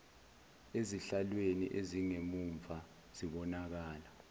ezihlalweni ezingemumva zibonakala